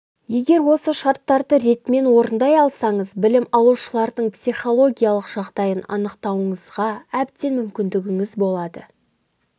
егер осы шарттарды ретімен орындай алсаңыз білім алушылардың психологиялық жағдайын анықтауыңызға әбден мүмкіндігіңіз болады